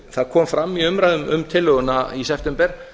það kom fram í umræðum um tillöguna í september